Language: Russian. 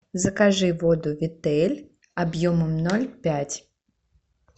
закажи воду витель объемом ноль пять